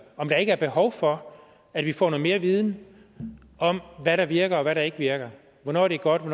er ikke er behov for at vi får noget mere viden om hvad der virker og hvad der ikke virker hvornår det er godt og